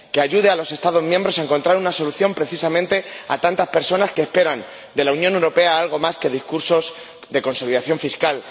que ayude a los Estados miembros a encontrar una solución precisamente para tantas personas que esperan de la Unión Europea algo más que discursos de consolidación fiscal